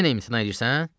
Yenə imtina edirsən?